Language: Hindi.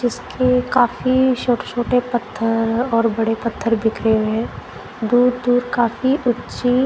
इसके काफी छोटे छोटे पत्थर और बड़े पत्थर बिखरे हुए दूर दूर काफी ऊची--